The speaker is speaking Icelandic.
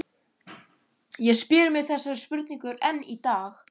Ég spyr mig þessarar spurningar enn í dag.